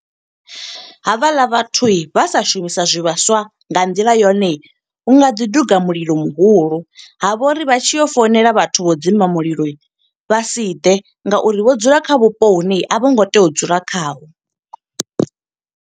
Ha vha ḽa vhathu vha sa shumisa zwivhaswa nga nḓila yone, hunga ḓi duga mulilo muhulu. Ha vha uri vha tshi yo founela vhathu vho u dzima mulilo, vha si ḓe nga uri vho dzula kha vhupo hune a vho ngo tea u dzula khaho.